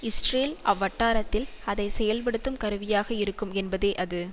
Israel அவ்வட்டாரத்தில் அதை செயல்படுத்தும் கருவியாக இருக்கும் என்பதே அது